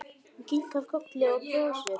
Hún kinkar kolli og brosir.